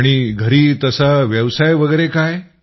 आणि घरी तसा व्यवसाय वगैरे काय